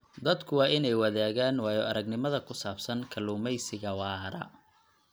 Dadku waa inay wadaagaan waayo-aragnimada ku saabsan kalluumeysiga waara.